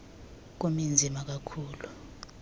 kube nzima kakhulu